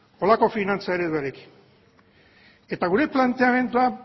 holako finantza ereduarekin eta gure planteamendua